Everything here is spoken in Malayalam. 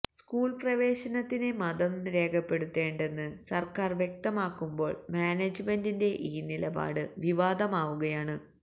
സ്കൂൾ പ്രവേശനത്തിന് മതം രേഖപ്പെടുത്തേണ്ടെന്ന് സർക്കാർ വ്യക്തമാക്കുമ്പോൾ മാനേജ്മെന്റിന്റെ ഈ നിലപാട് വിവാദമാവുകയാണ്